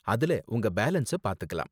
அதுல உங்க பேலன்ஸ பாத்துக்கலாம்.